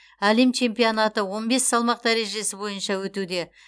әлем чемпионаты он бес салмақ дәрежесі бойынша өтуде